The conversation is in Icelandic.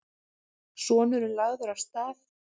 Sonurinn lagður af stað.